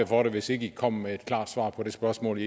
for det hvis ikke i kommer med et klart svar på det spørgsmål